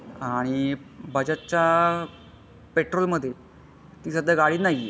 हा आणि बजाजचा पेट्रोल मध्ये ती सध्या गाडी नाही आहे.